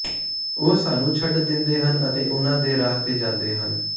ਉਹ ਸਾਨੂੰ ਛੱਡ ਦਿੰਦੇ ਹਨ ਅਤੇ ਉਨ੍ਹਾਂ ਦੇ ਰਾਹ ਤੇ ਜਾਂਦੇ ਹਨ